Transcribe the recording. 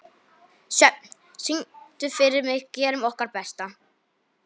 Sjöfn, syngdu fyrir mig „Gerum okkar besta“.